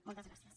moltes gràcies